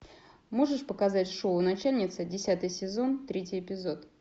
можешь показать шоу начальница десятый сезон третий эпизод